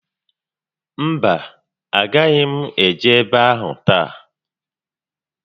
Mba, a gaghị m eje ébé áhụ̀ taa